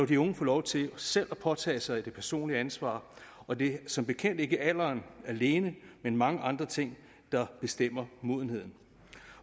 de unge få lov til selv at påtage sig det personlige ansvar og det er som bekendt ikke alderen alene men mange andre ting der bestemmer modenheden